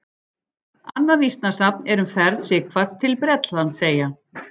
Annað vísnasafn er um ferð Sighvats til Bretlandseyja.